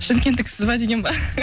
шымкенттіксіз ба деген ба